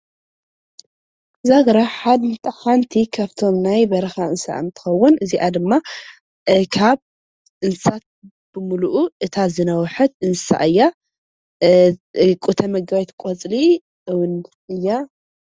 ዛግራ ሓንቲ ካብቶም ናይ በረኻ እንስሳ እንትኸዉን እዚኣ ድማ ካብ እንስሳት ብምልኡ እታ ዝነዉሐት እያ። ተመጋቢት ቆፅሊ እያ።